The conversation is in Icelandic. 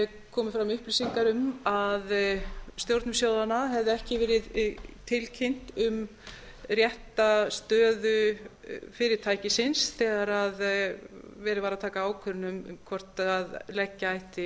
komu fram upplýsingar um að stjórnum sjóðanna hefði ekki verið tilkynnt um rétta stöðu fyrirtækisins þegar verið var að taka ákvörðun hvort leggja ætti